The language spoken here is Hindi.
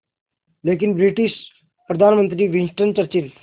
लेकिन ब्रिटिश प्रधानमंत्री विंस्टन चर्चिल